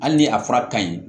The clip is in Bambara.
Hali ni a fura ka ɲi